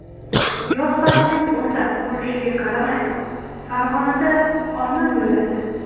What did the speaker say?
Yoz faslining o‘rtasi bo‘lishiga qaramay, Farg‘onada olma gulladi.